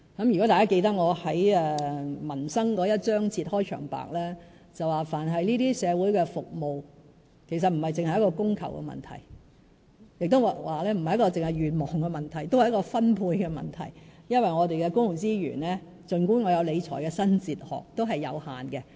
如果大家記得我在民生章節的開場白提到，但凡社會服務皆不只是供求的問題，亦不只是願望的問題，也是分配的問題，因為儘管我有理財的新哲學，我們的公共資源也是有限的。